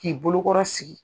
K'i bolokɔrɔ sigi